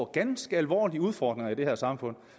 ganske alvorlige udfordringer i det her samfund